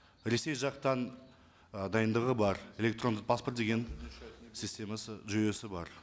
ресей жақтан ы дайындығы бар электрондық паспорт деген системасы жүйесі бар